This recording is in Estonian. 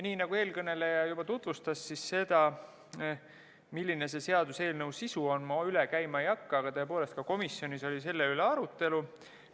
Kuna eelkõneleja juba tutvustas eelnõu, siis seda, milline selle seaduseelnõu sisu on, ma üle käima ei hakka, aga tõepoolest, ka komisjonis oli selle üle arutelu.